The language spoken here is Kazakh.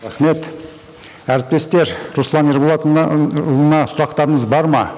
рахмет әріптестер руслан сұрақтарыңыз бар ма